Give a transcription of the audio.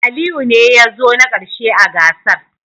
Aliyu ne ya zo na karshe a gasar